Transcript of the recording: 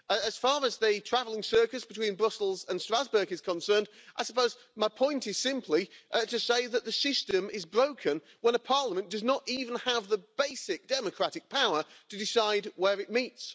As far as the travelling circus between Brussels and Strasbourg is concerned, I suppose my point is simply to say that the system is broken when a parliament does not even have the basic democratic power to decide where it meets.